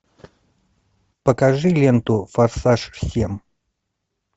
покажи ленту форсаж семь